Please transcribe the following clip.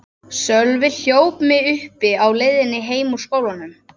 Sölvi hljóp mig uppi á leiðinni heim úr skólanum.